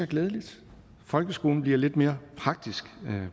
glædeligt folkeskolen bliver lidt mere praktisk